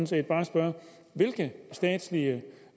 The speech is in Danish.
set bare spørge hvilke statslige